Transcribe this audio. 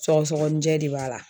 Sɔgɔsɔgɔnijɛ de b'a la.